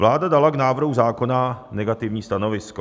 Vláda dala k návrhu zákona negativní stanovisko.